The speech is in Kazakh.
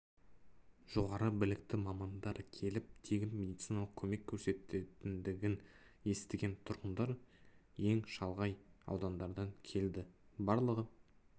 жоғары білікті мамандар келіп тегін медициналық көмек көрсететіндігін естіген тұрғындар ең шалғай аудандардан келді барлығы